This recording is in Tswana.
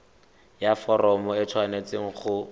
ya foromo e tshwanetse go